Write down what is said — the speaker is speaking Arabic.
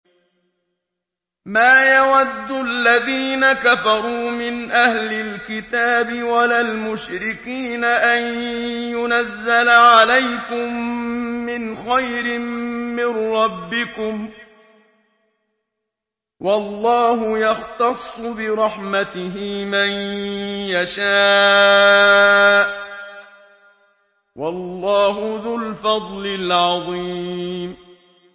مَّا يَوَدُّ الَّذِينَ كَفَرُوا مِنْ أَهْلِ الْكِتَابِ وَلَا الْمُشْرِكِينَ أَن يُنَزَّلَ عَلَيْكُم مِّنْ خَيْرٍ مِّن رَّبِّكُمْ ۗ وَاللَّهُ يَخْتَصُّ بِرَحْمَتِهِ مَن يَشَاءُ ۚ وَاللَّهُ ذُو الْفَضْلِ الْعَظِيمِ